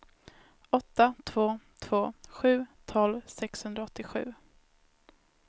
åtta två två sju tolv sexhundraåttiosju